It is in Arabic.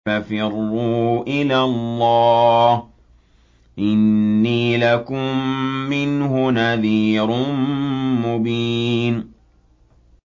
فَفِرُّوا إِلَى اللَّهِ ۖ إِنِّي لَكُم مِّنْهُ نَذِيرٌ مُّبِينٌ